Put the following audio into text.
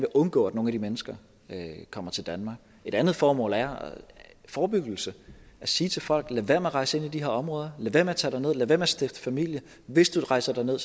undgå at nogle af de mennesker kommer til danmark et andet formål er forebyggelse at sige til folk lad være med at rejse ind i de her områder lad være med at tage derned lad være med at stifte familie hvis du rejser derned